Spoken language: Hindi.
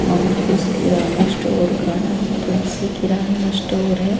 और इस किराने स्टोर का नाम तुलसी किराना स्टोर है।